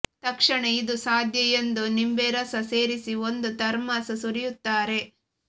ತಕ್ಷಣ ಇದು ಸಾಧ್ಯ ಎಂದು ನಿಂಬೆ ರಸ ಸೇರಿಸಿ ಒಂದು ಥರ್ಮೋಸ್ ಸುರಿಯುತ್ತಾರೆ